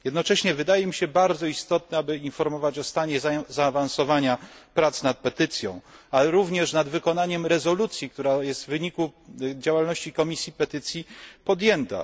Jednocześnie wydaje mi się bardzo istotne, aby informować o stanie zaawansowania prac nad petycją, ale również nad wykonaniem rezolucji, która jest w wyniku działalności Komisji Petycji podjęta.